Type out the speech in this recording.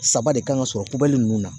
Saba de kan ka sɔrɔ ko bɛli ninnu na